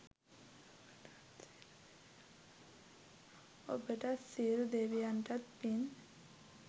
ඔබටත් සියලු දෙවියන්තත් පින්.